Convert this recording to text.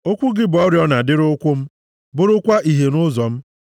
Okwu gị bụ oriọna dịrị ụkwụ m bụrụkwa ìhè nʼụzọ m.